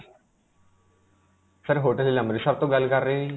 sir, hotel Amritsar ਤੋਂ ਗੱਲ ਕਰ ਰਹੇ ਹੋ ਜੀ?